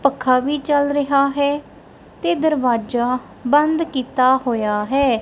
ਪੱਖਾ ਵੀ ਚੱਲ ਰਿਹਾ ਹੈ ਤੇ ਦਰਵਾਜਾ ਬੰਦ ਕੀਤਾ ਹੋਇਆ ਹੈ।